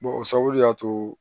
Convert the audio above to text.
o sababu de y'a to